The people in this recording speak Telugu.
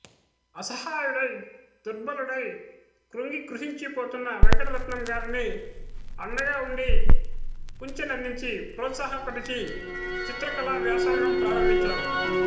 అసహాయుడై దుర్బలుడై క్రుంగి క్రుశించిపోతున్న వెంకటరత్నం గారిని అండగా ఉండి కుంచెనందించి ప్రోత్సాహపరచి చిత్రకళా వ్యాసంగం ప్రారంభించారు